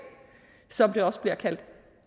som det også bliver kaldt